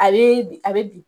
A bɛ bin a bɛ bini.